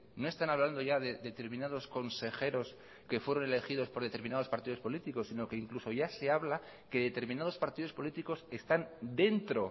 no están hablando ya de determinados consejeros que fueron elegidos por determinados partidos políticos sino que incluso ya se habla que determinados partidos políticos están dentro